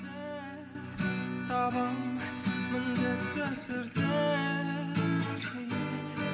табамын міндетті түрде